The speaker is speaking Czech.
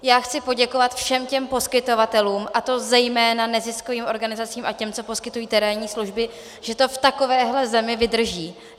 Já chci poděkovat všem těm poskytovatelům, a to zejména neziskovým organizacím a těm, co poskytují terénní služby, že to v takovéhle zemi vydrží.